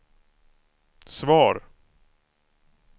svar